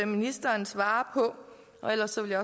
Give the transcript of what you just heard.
ministeren svare på ellers vil